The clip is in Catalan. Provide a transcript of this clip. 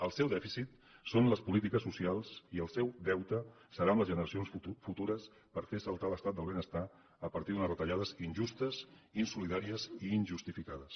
el seu dèficit són les polítiques socials i el seu deute seran les generacions futures perquè fan saltar l’estat del benestar a partir d’unes retallades injustes insolidàries i injustificades